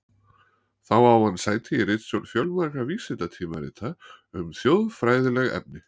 Þá á hann sæti í ritstjórn fjölmargra vísindatímarita um þjóðfræðileg efni.